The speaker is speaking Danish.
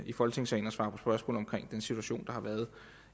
i folketingssalen og svare på spørgsmål om den situation der har været